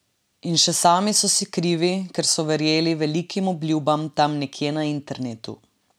In še sami so si krivi, ker so verjeli velikim obljubam tam nekje na internetu!